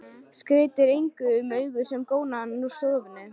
Skeytir engu um augu sem góna á hann úr stofunni.